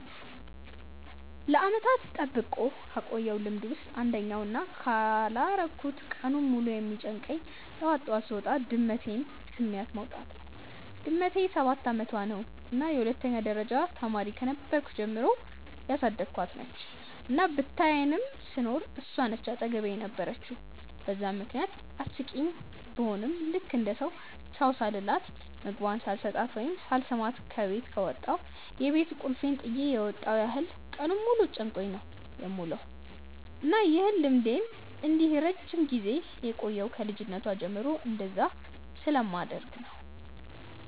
ለዓመታት ጠብቄ ካቆየውት ልምድ ውስጥ አንደኛው እና ካላረኩት ቀኑን ሙሉ የሚጨንቀኝ ጠዋት ጠዋት ስወጣ ድመቴን ስሚያት መውጣት ነው። ድመቴ ሰባት አመቷ ነው እና የሁለተኛ ደረጃ ተማሪ ከነበርኩ ጀምሮ ያሳደኳት ነች፤ እና ብቻየንም ስኖር እሷ ነች አጠገቤ የነበረችው በዛም ምክንያት አስቂኝ ቡሆም ልክ እንደ ሰው ቻው ሳልላት፣ ምግቧን ሳልሰጣት ወይም ሳልስማት ከበት ከወጣው የቤት ቁልፌን ጥየ የመጣው ያህል ቀኑን ሙሉ ጨንቆኝ ነው የምውለው። እና ይህ ልምዴ እንዲህ ረጅም ጊዜ የቆየው ከ ልጅነቷ ጀምሮ እንደዛ ስለማደርግ ነው።